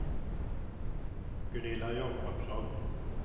Gunilla Jakobsson